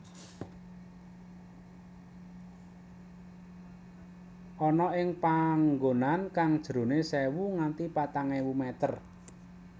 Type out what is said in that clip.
Ana ing panggonan kang jerone sewu nganti patang ewu meter